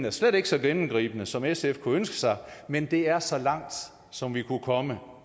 er slet ikke så gennemgribende som sf kunne ønske sig men det er så langt som vi kunne komme